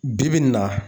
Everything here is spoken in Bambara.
Bi bi in na